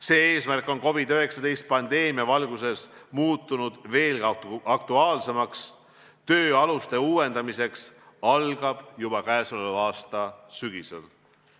See eesmärk on COVID-19 pandeemia valguses muutunud veelgi aktuaalsemaks, töö aluste uuendamiseks algab juba tänavu sügisel.